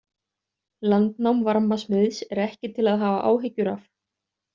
Landnám varmasmiðs er ekki til að hafa áhyggjur af.